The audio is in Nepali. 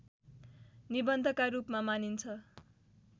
निबन्धका रूपमा मानिन्छ